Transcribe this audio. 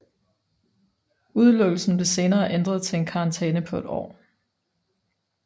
Udelukkelsen blev senere ændret til en karantæne på et år